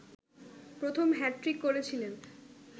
প্রথম হ্যাট্রিক করেছিলেন